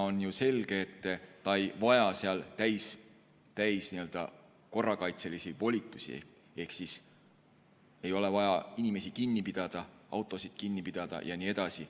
On selge, et ta ei vaja seal täiskorrakaitselisi volitusi ehk ei ole vaja inimesi kinni pidada, autosid kinni pidada ja nii edasi.